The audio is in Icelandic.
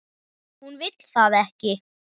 Hún vill það ekki.